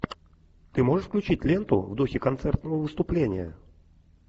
ты можешь включить ленту в духе концертного выступления